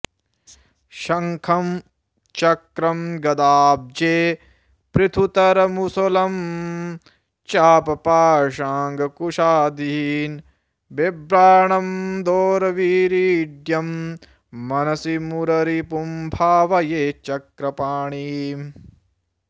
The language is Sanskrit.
शङ्खं चक्रं गदाब्जे पृथुतरमुसलं चापपाशाङ्कुशादीन् बिभ्राणं दोर्भिरीड्यं मनसि मुररिपुं भावये चक्रपाणिम्